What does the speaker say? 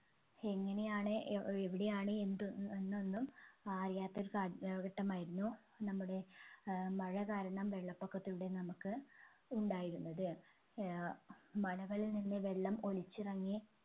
എങ്ങനെയാണ് ഏർ എവിടെയാണ് എന്ത് എന്നൊന്നും അറിയാത്ത ഒരു സാഹ ഏർ ഘട്ടമായിരുന്നു നമ്മുടെ ഏർ മഴ കാരണം വെള്ളപൊക്കത്തിലൂടെ നമ്മുക്ക് ഉണ്ടായിരുന്നത് ഏർ മലകളിൽ നിന്ന് വെള്ളം ഒലിച്ചിറങ്ങി